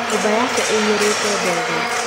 Nyũmba yake ĩiyũrĩte ndogo.